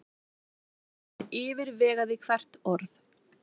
Hann yfirvegaði hvert orð.